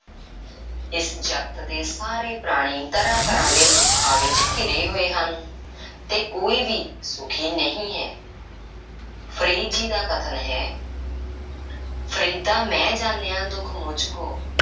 ਇਸ ਜਗਤ ਦੇ ਸਾਰੇ ਪ੍ਰਾਣੀ ਤਰ੍ਹਾਂ–ਤਰ੍ਹਾਂ ਦੇ ਦੁੱਖਾਂ ਵਿੱਚ ਘਿਰੇ ਹੋਏ ਹਨ ਤੇ ਕੋਈ ਵੀ ਸੁਖੀ ਨਹੀਂ ਹੈ। ਫ਼ਰੀਦ ਜੀ ਦਾ ਵੀ ਕਥਨ ਹੈ ਫਰੀਦਾ ਮੈਂ ਜਾਨਿਆ ਦੁਖ ਮੁਝ ਕੂ